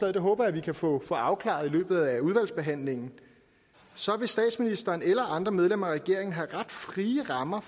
og det håber jeg vi kan få afklaret i løbet af udvalgsbehandlingen så vil statsministeren eller andre medlemmer af regeringen have ret frie rammer